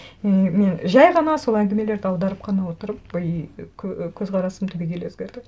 и мен жай ғана сол әңгімелерді аударып қана отырып и көзқарасым түбегейлі өзгерді